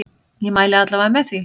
Ég mæli alla vega með því.